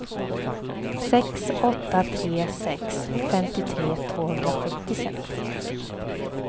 sex åtta tre sex femtiotre tvåhundrasjuttiosex